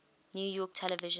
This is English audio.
new york television